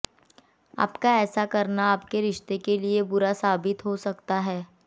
आपका ऐसा करना आपके रिश्ते के लिए बुरा साबित हो सकता है